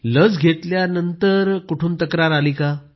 लस घेतल्यावर नंतर कुठून तक्रार आली